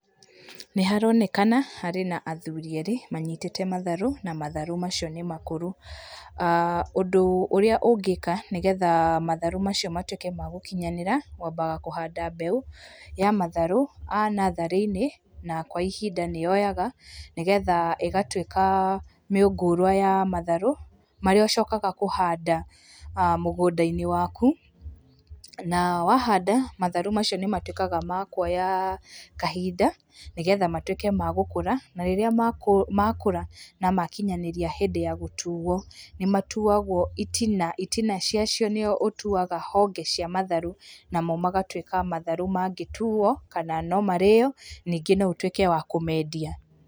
Nĩ haronekana harĩ na athuri erĩ manyitĩte matharũ na matharũ macio nĩ makũrũ. Ũndũ ũrĩa ũngĩka nĩgetha matharũ macio matwĩke ma gũkinyanĩra, wambaga kũhanda mbegũ ya matharũ, a natharĩ-inĩ na kwa ihinda nĩ yoyaga nĩ getha ĩgatwĩka mĩũngũrwa ya matharũ, marĩa ũcokaga kũhanda mũgũnda-inĩ waku na wahanda matharũ macio nĩ matwĩkaga makuoya kahinda nĩ getha matwĩke ma gũkũra na rĩrĩa makũra na makinyanĩria hĩndĩ ya gũtuo, nĩ matuagwo itina. Itina cia cio nĩ cio ũtuaga honge cia matharũ namo magatwĩka ma tharũ mangĩtuo kana no marĩo, ningĩ no ũtwĩke wa kũmendia.